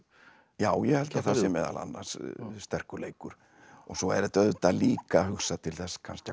já ég held að það sé meðal annars sterkur leikur svo er þetta auðvitað líka hugsað til þess kannski að